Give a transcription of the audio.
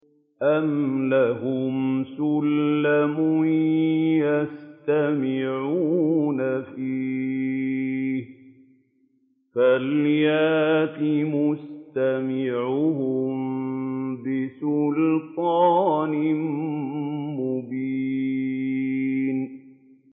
أَمْ لَهُمْ سُلَّمٌ يَسْتَمِعُونَ فِيهِ ۖ فَلْيَأْتِ مُسْتَمِعُهُم بِسُلْطَانٍ مُّبِينٍ